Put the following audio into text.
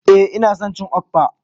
Eh ina son cin Okpa.